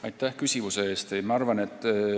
Aitäh küsimuse eest!